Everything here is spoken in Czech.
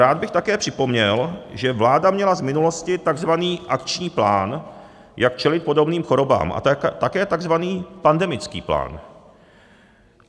Rád bych také připomněl, že vláda měla z minulosti tzv. akční plán, jak čelit podobným chorobám, a také tzv. pandemický plán.